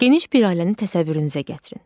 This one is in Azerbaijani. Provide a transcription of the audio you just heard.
Geniş bir ailəni təsəvvürünüzə gətirin.